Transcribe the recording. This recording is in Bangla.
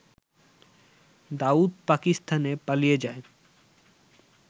দাউদ পাকিস্তানে পালিয়ে যায়